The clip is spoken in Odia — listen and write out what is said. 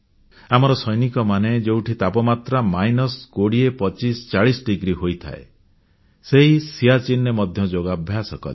ଆମର ସୈନିକମାନେ ଯେଉଁଠି ତାପମାତ୍ରା ବିଯୁକ୍ତ ମାଇନସ୍ 20 25 40 ଡିଗ୍ରୀ ସେଲସିଅସ ହୋଇଥାଏ ସେହି ସିଆଚିନରେ ମଧ୍ୟ ଯୋଗାଭ୍ୟାସ କଲେ